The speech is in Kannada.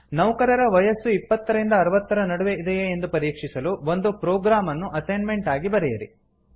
ನೌಕರರ ವಯಸ್ಸು ಇಪ್ಪತ್ತರಿಂದ ಅರವತ್ತರ ನಡುವೆ ಇದೆಯೇ ಎಂದು ಪರೀಕ್ಷಿಸಲು ಒಂದು ಪ್ರೊಗ್ರಾಮ್ ಅನ್ನು ಅಸೈನ್ಮೆಂಟ್ ಆಗಿ ಬರೆಯಿರಿ